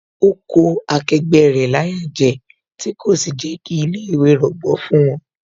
Ó kó akẹgbẹ́ rẹ̀ láyà jẹ, tí kò sì jẹ́ kí ilé ìwé rọgbọ fún wón